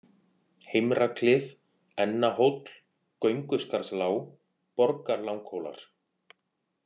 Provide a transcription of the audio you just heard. Heimraklif, Ennahóll, Gönguskarðslág, Borgarlanghólar